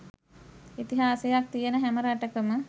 ඉතිහාසයක් තියෙන හැම රටකම